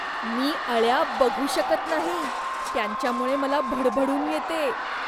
मी अळ्या बघू शकत नाही, त्यांच्यामुळे मला भडभडून येते.